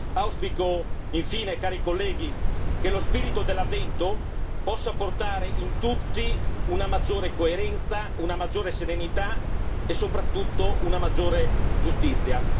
Auspico, infine, cari colleghi, che lo spirito dell'Avvento possa portare in tutti una maggiore coerenza, una maggiore serenità e soprattutto una maggiore giustizia.